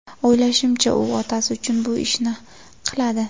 O‘ylashimcha, u otasi uchun bu ishni qiladi.